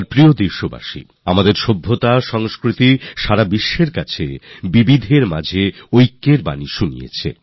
আমার প্রিয় দেশবাসী আমাদের সভ্যতা সংস্কৃতি আর ভাষাগুলি গোটা বিশ্বে বৈচিত্র্যের মধ্যে ঐক্যের বার্তা দেয়